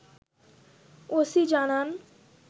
OC জানান